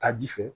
Taji fɛ